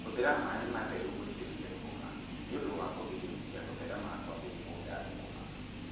Hũthĩra maaĩ matheru gũitĩrĩria thũkũma nĩ ũndũ wa kũgirĩrĩria gũtherema kwa mĩrimũ ya thũkũma.